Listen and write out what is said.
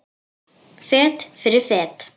Fet fyrir fet.